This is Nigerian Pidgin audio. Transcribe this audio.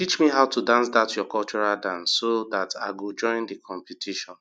teach me how to dance that your cultural dance so that i go join the competition